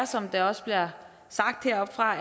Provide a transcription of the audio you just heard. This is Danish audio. som det også bliver sagt heroppefra